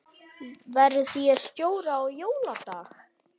Verð ég stjóri á jóladag?